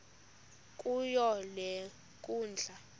kuyo le nkundla